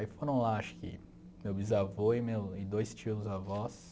Aí foram lá, acho que meu bisavô e meu e dois tios avós,